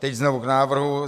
Teď znovu k návrhu.